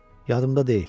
Yadımda deyil.